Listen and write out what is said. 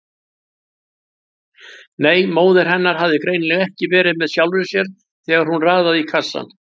Nei, móðir hennar hafði greinilega ekki verið með sjálfri sér þegar hún raðaði í kassann.